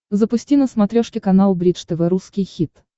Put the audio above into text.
запусти на смотрешке канал бридж тв русский хит